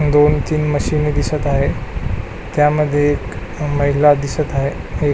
दोन तीन मशिनी दिसत आहे त्यामध्ये एक महिला दिसत आहे एक--